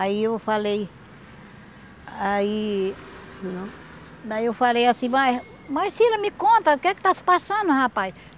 Aí eu falei, aí... Daí eu falei assim, mas mas Cila, me conta, o que que está se passando, rapaz?